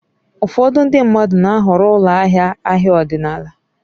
Ụfọdụ ndị mmadụ na-ahọrọ ụlọ ahịa ahịa ọdịnala.